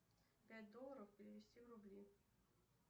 пять долларов перевести в рубли